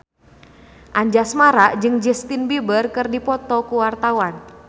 Anjasmara jeung Justin Beiber keur dipoto ku wartawan